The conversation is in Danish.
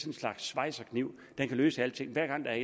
en slags schweizerkniv den kan løse alting hver gang der er